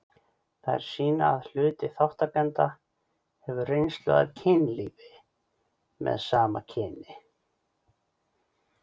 Þær sýna að hluti þátttakenda hefur reynslu af kynlífi með sama kyni.